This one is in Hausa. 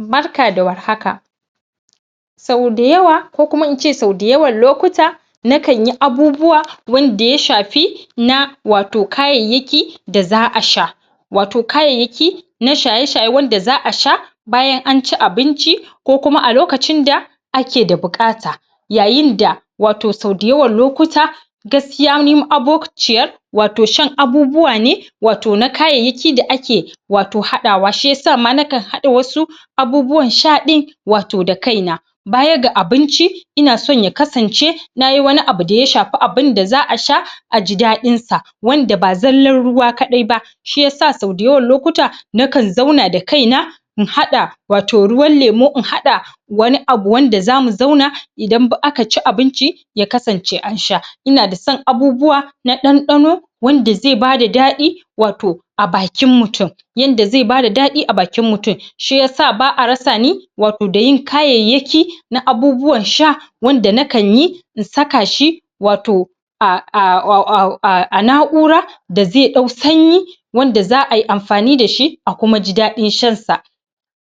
Barka da war haka. Sau da yawa kokuma ince sau da yawan lokuta nakan yi abubuwa wanda ya shafi na wato kaayayyaki da za'a sha, wato kaayayyaki na shaye-shaye wanda za'a sha bayan anci abinci ko kuma a lokacin da ake da buƙata, yaayinda wato sau da yawan lokuta gaskiya ni ma'abo ciyar wato shan abubuwa ne wato na kaayayyaki da ake wato haɗawa shiyasa ma nakan hada wasu abubuwan sha ɗin wato da kai na, baya ga abinci ina son ya kasance nayi wani abu daya shafi abinda za'a sha aji daɗin sa wanda ba zallan ruwa kaɗai ba shiyasa sau da yawan lokuta nakan zauna da kaina in hada wato ruwan lemo in hada wani abu wanda zamu zauna idan aka ci abinci ya kasance an sha, ina da san abubuwa na ɗanɗano wanda ze bada daɗi wato a bakin mutum yanda ze bada dadi a bakin mutum, shiyasa ba'a rasa ni wato dayin kaayayyaki na abubuwan sha wanda nakan yi in saka shi wato na'ura da ze ɗau sanyi wanda za'ayi amfani dashi a kuma ji daɗin shan sa